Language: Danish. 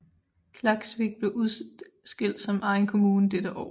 Klaksvík blev udskilt som egen kommune dette år